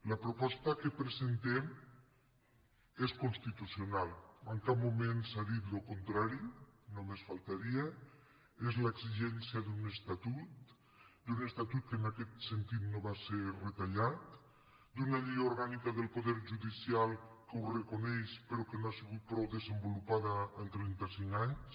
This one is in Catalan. la proposta que presentem és constitucional en cap moment s’ha dit el contrari només faltaria és l’exi·gència d’un estatut d’un estatut que en aquest sentit no va ser retallat d’una llei orgànica del poder judi·cial que ho reconeix però que no ha sigut prou desen·volupada en trenta·cinc anys